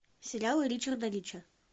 сериалы ричарда рича